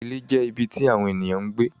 Ìlẹ̀ jẹ̀ ibí tí Àwọńènìyàn ǹ gbé.